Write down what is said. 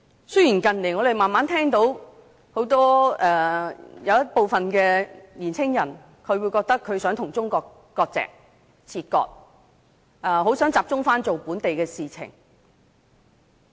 雖然近年慢慢聽到有部分年青人想與中國切割，很想集中關於本土的事情。